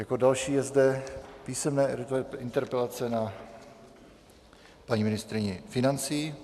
Jako další je zde písemná interpelace na paní ministryni financí.